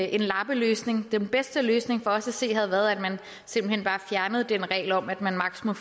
en lappeløsning den bedste løsning for os at se havde været at man simpelt hen bare fjernede reglen om at man maksimum